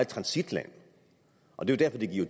transitland og det er jo